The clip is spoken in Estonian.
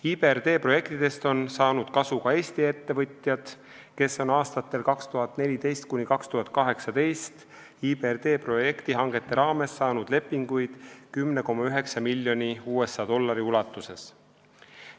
IBRD projektidest on saanud kasu ka Eesti ettevõtjad, kes on aastatel 2014–2018 IBRD projektihangete raames saanud lepinguid 10,9 miljoni USA dollari eest.